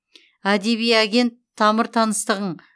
әдеби агент тамыр таныстығың